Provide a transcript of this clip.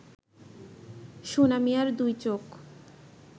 সোনা মিয়ার দুই চোখ